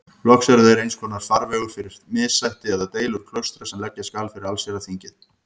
Loks eru þeir einskonar farvegur fyrir missætti eða deilur klaustra sem leggja skal fyrir allsherjarþingið.